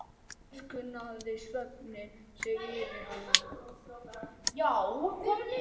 Síðan miskunnaði svefninn sig yfir hana.